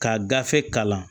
Ka gafe kalan